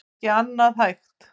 Það er ekki annað hægt